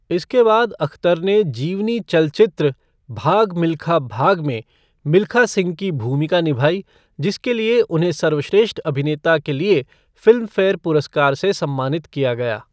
इसके बाद अख्तर ने जीवनी चलचित्र 'भाग मिल्खा भाग' में मिल्खा सिंह की भूमिका निभाई जिसके लिए उन्हें सर्वश्रेष्ठ अभिनेता के लिए फिल्मफेयर पुरस्कार से सम्मानित किया गया।